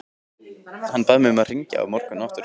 Hann bað mig að hringja aftur á morgun.